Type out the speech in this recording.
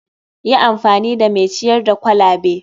Yi amfani da mai ciyar da kwalabe.